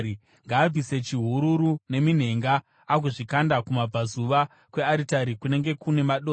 Ngaabvise chihururu neminhenga agozvikanda kumabvazuva kwearitari kunenge kune madota.